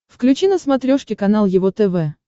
включи на смотрешке канал его тв